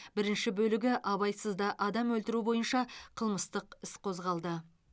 бірінші бөлігі абайсызда адам өлтіру бойынша қылмыстық іс қозғалды